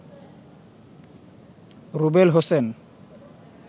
Rubel Hossain